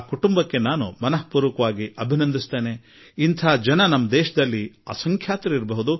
ಆ ಕುಟುಂಬಕ್ಕೆ ನಾನು ಅಭಿನಂದನೆ ಹೇಳುವೆ ಮತ್ತು ಇಂತಹ ಅಗಣಿತ ಸಂಖ್ಯೆಯ ಜನರು ಇದ್ದಾರೆ